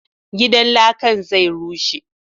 Gidan lakan zai rushe